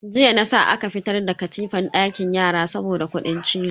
Jiya na sa aka fitar da katifan dakin yara saboda kudin cizo.